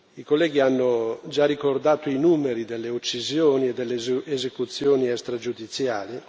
I colleghi hanno già ricordato i numeri delle uccisioni e delle esecuzioni extragiudiziali